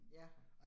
Ja